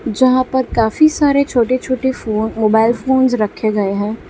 यहां पर काफी सारे छोटे छोटे फोन मोबाइल फोन्स रखे गए हैं।